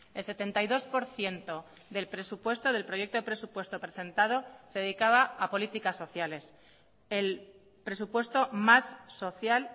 el setenta y dos por ciento del presupuesto del proyecto de presupuesto presentado se dedicaba a políticas sociales el presupuesto más social